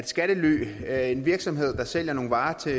skattely det er en virksomhed sælger nogle varer til